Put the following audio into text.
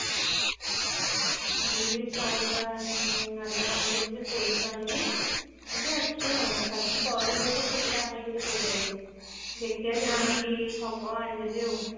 ଯିବି ଟିକେ ସଉଦା ଆଣିବା ପାଇଁ ଦୋକାନ କୁ ଯାଇକି ଟିକେ ସୋରିଷ ଆଣିବି ଏମତି ଅଛି ଆଉ ଭାବିଛି ତରଭୁଜ ଗୋଟେ ଛୋଟ ତେ ଆଣିବି ବୋଲି ବଜାର ରୁ ଦେଖିବା ଯଦି ହବ ଆଣିଦେବି ଆଉ।